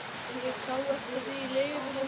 Ég sá eftir því í leigubílnum til